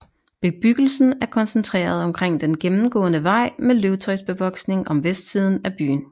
Bebyggelsen er koncentreret omkring den gennemgående vej med løvtræsbevoksning om vestsiden af byen